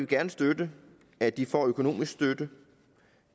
gerne støtte at de får økonomisk støtte